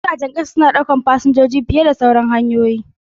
Jiragen ƙasa suna ɗaukar fasinjoji fiye da sauran hanyoyin sufuri.